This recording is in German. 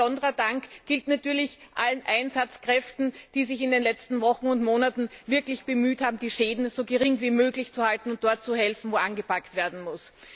Ein ganz besonderer Dank gilt natürlich allen Einsatzkräften, die sich in den letzten Wochen und Monaten wirklich bemüht haben, die Schäden so gering wie möglich zu halten und dort zu helfen, wo angepackt werden muss.